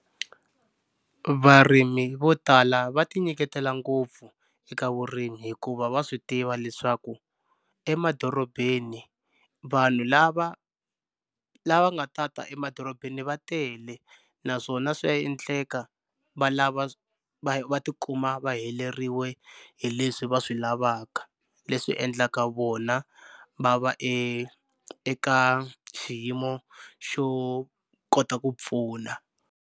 Varimi vo tala va ti nyiketela ngopfu eka vurimi hikuva va swi tiva leswaku emadorobeni vanhu lava lava nga ta ta emadorobeni va tele naswona swa endleka va lava va va tikuma va heleriwe hi leswi va swi lavaka leswi endlaka vona va va e eka xiyimo xo kota ku pfuna.